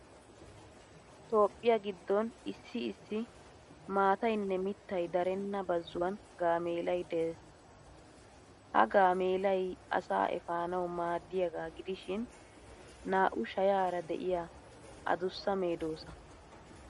Toophphiyaa giddon issi issi maataynne miittay darenna bazzuwan gaameelay des. Ha gaameelay asaa efanawu maaddiyaagaa gidishin naa'u shayaara de'iya adussa medoossaa.